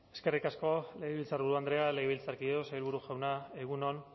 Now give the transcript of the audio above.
eskerrik asko legebiltzarburu andrea legebiltzarkideok sailburu jauna egun on